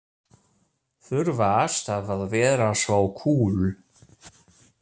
Þurfa alltaf að vera svo kúl.